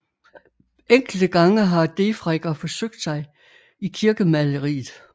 Enkelte gange har Defregger forsøgt sig i kirkemaleriet